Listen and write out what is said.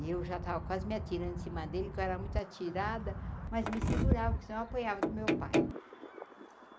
E eu já estava quase me atirando de cima dele, porque eu era muito atirada, mas me segurava, porque senão eu apanhava do meu pai.